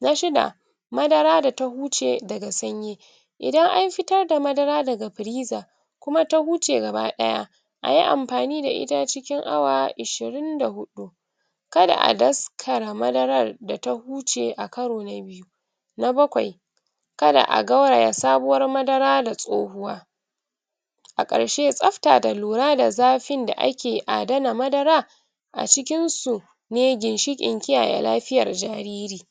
na shida madara data guce daga sanyi idan an fitarda madara daga firiza kumata shuce gaba daya ayi anfani da'ita cikin awa ashirin da huɗu kada a daskara madaran data huce a karo na bioyu na bakwai kada'a garwaya sabuwan madara da tsohuwa akarshe tsafta da lura da zafin da aki adana madara acikin su ne ginshiƙin kiyaye lafiyan jariri